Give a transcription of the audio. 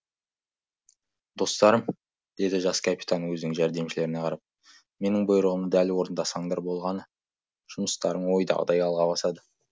достарым деді жас капитан өзінің жәрдемшілеріне қарап менің бұйрығымды дәл орындасаңдар болғаны жұмыстарың ойдағыдай алға басады